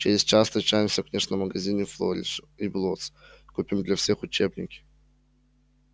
через час встречаемся в книжном магазине флориш и блоттс купим для всех учебники